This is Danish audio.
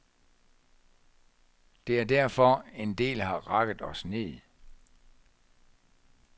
Det er derfor, en del har rakket os ned.